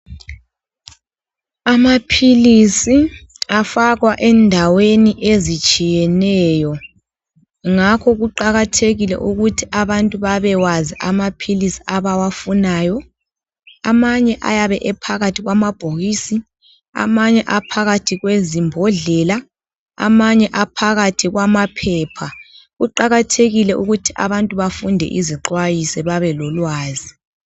Amaphilisi afakwa endaweni ezitshiyeneyo Ngakho kuqakathekile ukuthi abantu babewazi amaphilisi abawafunayo. Amanye ayabe ephakathi kwamabhokisi . Amanye aphakathi kwezimbodlela. Amanye aphakathi kwamaphepha. Kuqakathekike ukuthi abantu bafunde izixwayiso babelolwazi.